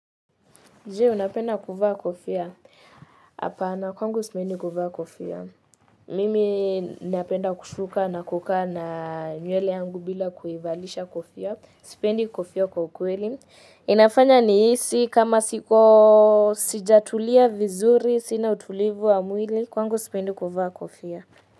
Je, unapenda kuvaa kofia. Hapana, kwangu sipendi kuvaa kofia. Mimi napenda kushuka na kukaa na nywele yangu bila kuivalisha kofia. Sipendi kofia kwa ukweli. Inafanya nihisi kama sijatulia vizuri, sina utulivu wa mwili, kwangu sipendi kuvaa kofia.